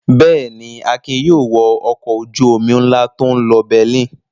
Bẹ́ẹ̀ ni, Akin yóò wọ ọkọ̀ ojú-omi ńlá tó ń lọ Berlin.